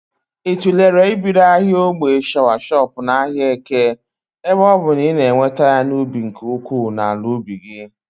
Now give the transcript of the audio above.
Ị tụlere ibido ahịa ogbè shọawashọp n'ahịa Eke ebe ọbụ na ị na-eweta ya n'ubi nke ukwuu n'ala ubi gị?